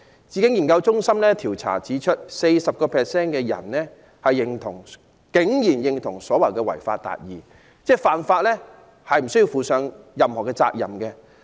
智經研究中心的調查指出 ，40% 受訪者竟然認同違法達義，即犯法無須負上任何責任。